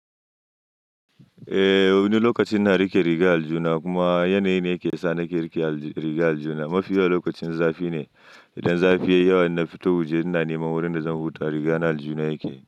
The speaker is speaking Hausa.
Eh, wani lokaci ina riƙe riga aljihu na kuma yanayi ne yake sa nake riƙe riga aljihu na mafi yawan lokacin zafi ne. Idan zafi yayi yawa, na fito waje ina niman wurin da zan huta, riga na aljuna yake.